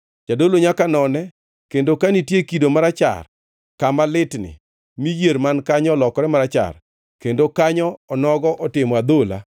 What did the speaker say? Jadolo nyaka none, kendo ka nitie kido marachar kama litni mi yier man kanyo olokore marachar, kendo kanyo onogo otimo adhola,